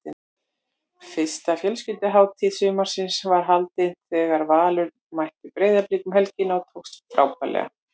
Fyrsta fjölskylduhátíð sumarsins var haldin þegar Valur mætti Breiðablik um helgina og tókst frábærlega.